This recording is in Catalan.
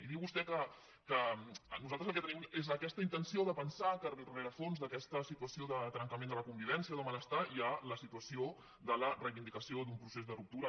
i diu vostè que nosaltres el que tenim és aquesta intenció de pensar que al rerefons d’aquesta situació de trencament de la convivència de malestar hi ha la situació de la reivindicació d’un procés de ruptura